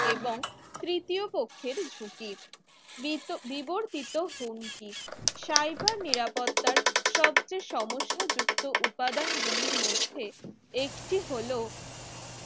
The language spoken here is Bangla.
এবং তৃতীয় পক্ষের ঝুঁকি বিত বিবর্তিত হুমকি cyber নিরাপত্তা সবচেয়ে সমস্যা যুক্ত উপাদান গুলির মধ্যে একটি হলো